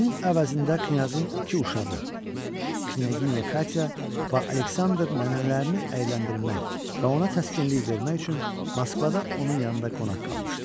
Bunun əvəzində knyazın iki uşağı, Knyaginya Katya və Aleksandr nənələrini əyləndirmək və ona təskinlik vermək üçün Moskvada onun yanında qonaq qalmışdılar.